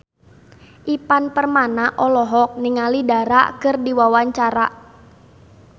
Ivan Permana olohok ningali Dara keur diwawancara